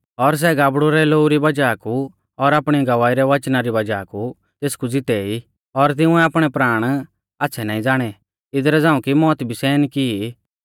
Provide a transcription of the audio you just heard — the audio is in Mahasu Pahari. और सै गाबड़ु रै लोऊ री वज़ाह कु और आपणी गवाही रै वचना री वज़ाह कु तेसकु ज़िते ई और तिंउऐ आपणै प्राण आच़्छ़ै नाईं ज़ाणै इदरा झ़ांऊ कि मौत भी सहन की ई